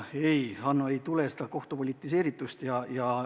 Ei, Hanno, ei tule seda kohtu politiseeritust.